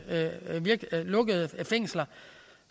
lukkede fængsler